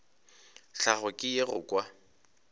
tlhahlo ke ye go kwa